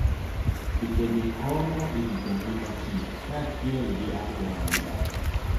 Chikegi konyo e rito ngima kich kaachiel gi alwora ma gidakie.